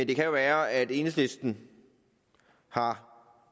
det kan være at enhedslisten har